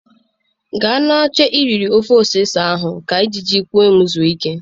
Gaa n'oche iriri ofe ose ose ahụ ka njiji kwem zuo ike